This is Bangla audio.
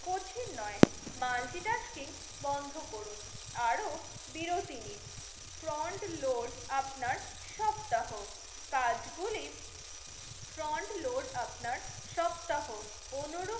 কোচিন নয় মাল্টি টাস্কিং বন্ধ রকুন, আরো বিরতি নিন ফ্রন্ট লোড আপনার সপ্তাহ কাজ গুলি ফ্রন্ট লোড আপনার সপ্তাহ অনুরু